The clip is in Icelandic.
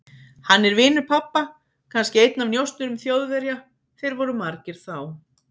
Hann er vinur pabba, kannski einn af njósnurum Þjóðverja, þeir voru margir þá.